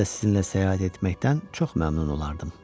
Mən də sizinlə səyahət etməkdən çox məmnun olardım.